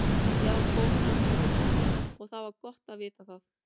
Ég var kominn á vígvöllinn og það var gott að vita það.